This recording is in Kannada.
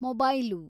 ಮೊಬೈಲು